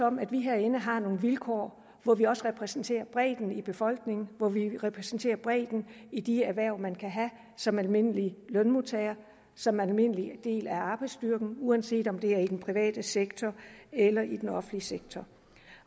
om at vi herinde har nogle vilkår hvor vi også repræsenterer bredden i befolkningen hvor vi repræsenterer bredden i de erhverv man kan have som almindelig lønmodtager og som almindelig del af arbejdsstyrken uanset om det er i den private sektor eller i den offentlige sektor